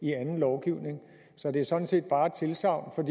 i anden lovgivning så det er sådan set bare et tilsagn